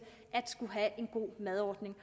en god madordning